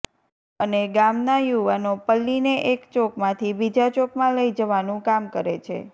અને ગામાન યુવનો પલ્લીને એક ચોકમાંથી બીજા ચોકમાં લઈ જવાનું કામ કરે છે